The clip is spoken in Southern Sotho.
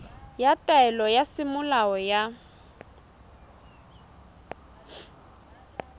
ya taelo ya semolao ya